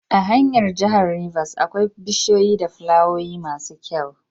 A hanyar jahar rivers akwai bishiyu da flawoyi masu kyau